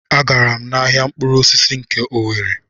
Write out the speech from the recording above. A gara m ahịa mkpụrụ osisi nke Owere.